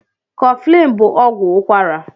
Kọflin bú ọgwụ ụkwara